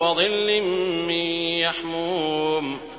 وَظِلٍّ مِّن يَحْمُومٍ